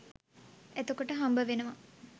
එතකොට හම්බවෙනවා